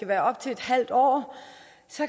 være op til et halvt år